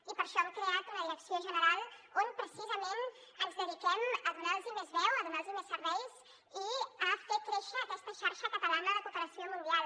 i per això hem creat una direcció general on precisament ens dediquem a donar los més veu a donar los més serveis i a fer créixer aquesta xarxa catalana de cooperació mundial